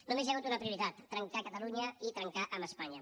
només hi ha hagut una prioritat trencar catalunya i trencar amb espanya